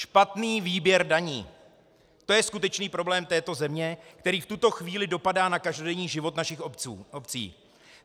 Špatný výběr daní, to je skutečný problém této země, který v tuto chvíli dopadá na každodenní život našich obcí.